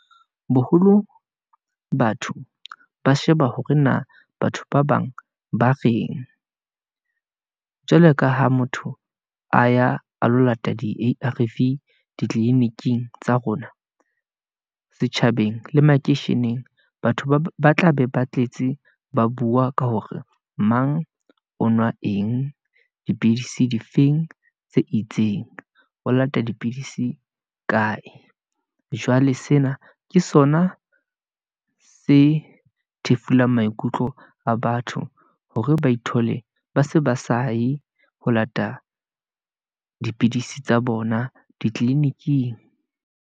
Boholo batho ba sheba hore na batho ba bang ba reng , jwalo ka ha motho a ya a lo lata di-A_R_V ditliniking tsa rona, setjhabeng le makeisheneng batho ba tla be ba tletse, ba bua ka hore mang o nwa eng, dipidisi difeng tse itseng, o lata dipidisi kae. Jwale sena ke sona se thefuleng maikutlo a batho, hore ba ithole ba se ba saye, ho lata dipidisi tsa bona ditliliniking.